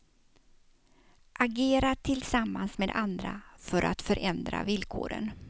Agera tillsammans med andra för att förändra villkoren.